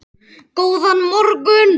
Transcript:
Góðan morgun